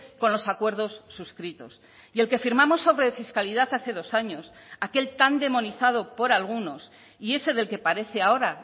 con los acuerdos suscritos y el que firmamos sobre fiscalidad hace dos años aquel tan demonizado por algunos y ese del que parece ahora